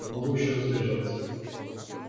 я могу ещё задержаться